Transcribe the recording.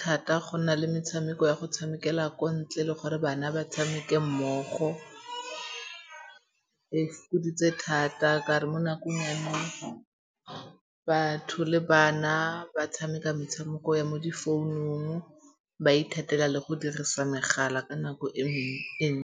thata go na le metshameko ya go tshamekela kwa ntle le gore bana ba tshameke mmogo. E fokoditse thata ka 'ore mo nakong ya nou, batho le bana ba tshameka metshameko ya mo difounung. Ba ithatela le go dirisa megala ka nako e nngwe e